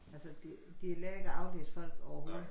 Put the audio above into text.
Altså de lærer ikke at aflæse folk overhovedet